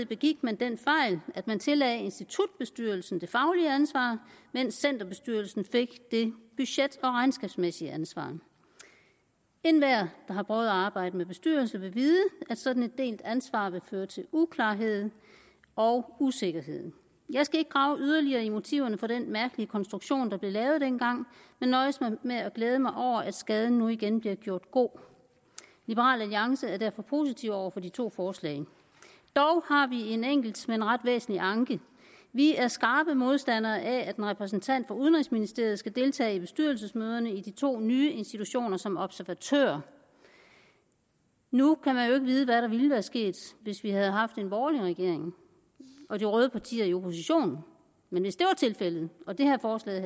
begik man den fejl at man tillagde institutbestyrelsen det faglige ansvar mens centerbestyrelsen fik det budget og regnskabsmæssige ansvar enhver der har prøvet at arbejde med bestyrelser vil vide at sådan et delt ansvar vil føre til uklarhed og usikkerhed jeg skal ikke grave yderligere i motiverne for den mærkelige konstruktion der blev lavet dengang men nøjes med at glæde mig over at skaden nu igen bliver gjort god liberal alliance er derfor positive over for de to forslag dog har vi en enkelt men ret væsentlig anke vi er skarpe modstandere af at en repræsentant for udenrigsministeriet skal deltage i bestyrelsesmøderne i de to nye institutioner som observatør nu kan man jo ikke vide hvad der ville være sket hvis vi havde haft en borgerlig regering og de røde partier i opposition men hvis det var tilfældet og det her forslag